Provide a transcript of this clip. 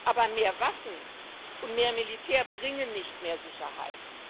Aber mehr Waffen und mehr Militär bringen nicht mehr Sicherheit.